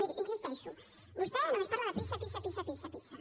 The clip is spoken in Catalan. miri hi insisteixo vostè només parla de pisa pisa pisa pisa pisa